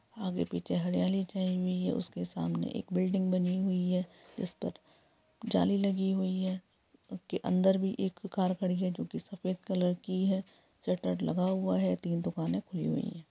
आगे पीछे हरियाली छाई हुई है उसके सामने एक बिल्डिंग बनी हुई है जिस पर जाली लगी हुई है उसके अन्दर भी एक कार खड़ी है जो सफ़ेद कलर की है सटर लगा हुआ है तीन दुकानें खुली हुई है।